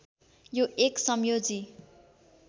यो एक संयोजी